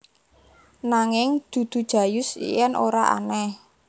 Nanging dudu Jayus yen ora aneh